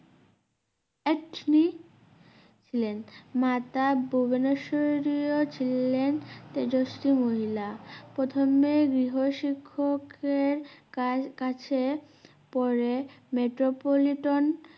একছিল ছিলেন মাতা ভুবনেশ্বরীও ছিলেন তেজশ্রী মহিলা প্রথমে গৃহশিক্ষকের কার~কাছে পরে মেট্রপল্লিটন